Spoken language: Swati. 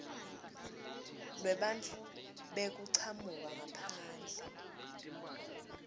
lwebantfu bekuchamuka ngaphandle